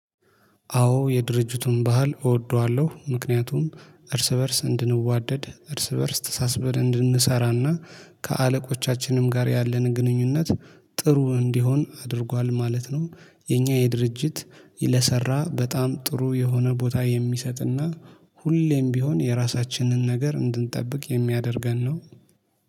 አዎ የድርጅቱን ባህል እወደዋለሁ ምክንያቱም እርስ በእርስ እንድንዋደድ እርስ በእርስ ተሳስበን እንድንሰራና ከአለቆቻችንም ጋር ያለን ግንኙነት ጥሩ እንዲሆን አድርጓል ማለት ነው። የኛ የድርጅት ለሰራ በጣም ጥሩ የሆነ ቦታ የሚሰጥና ሁሌም ቢሆን የራሳችንን ነገር እንድንጠብቅ የሚያደርገን ነው